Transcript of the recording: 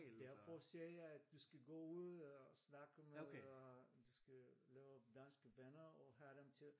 Derfor siger jeg at du skal gå ud og snakke med øh du skal lave danske venner og have dem til